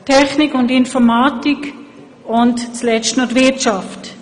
Technik und Informatik und schliesslich die Wirtschaft.